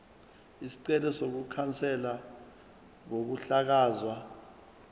isicelo sokukhanselwa kokuhlakazwa